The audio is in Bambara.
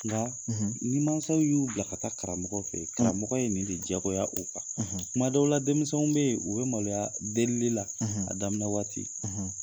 Nka, ni mansaw y'u bila ka taa karamɔgɔ fe ye, karamɔgɔ ye nin de diyagoya u kan . kuma dɔw la denmisɛnw be ye, u be maloyaa delili la a daminɛ waati.